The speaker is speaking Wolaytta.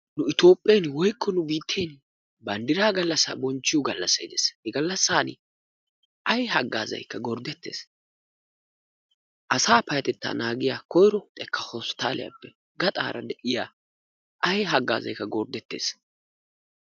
Nu Itoophphen/nu biitten banddiraa gallassaa bonchchiyo gallassay dees. He gallassaani ay haggaazaykka gorddettees. Asaa payyatettaa naagiya hosppitaale xekkaappe ha baggaara de'iya ay haggaazaykka gorddettees.